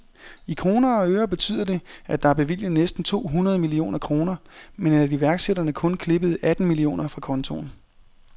I kroner og ører betyder det, at der er bevilget næsten to hundrede millioner kroner, men at iværksætterne kun klippede atten millioner fra kontoen.